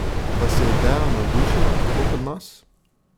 Vas je ideja navdušila tako kot nas?